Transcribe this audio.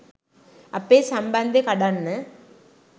අපේ සම්බන්දෙ කඩන්න